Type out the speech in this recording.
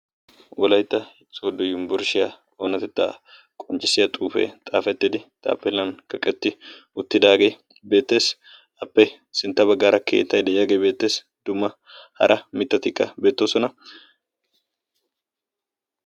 wolaitta soodo yumbburshshiyaa oonatettaa qonccissiya xuufee xaafettidi xaapfilan kaqqetti uttidaagee beetteesi appe sintta baggaara keettai de7iyaagee beetteesi duma hara mittatika beettoosona